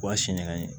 O y'a siɲɛn ye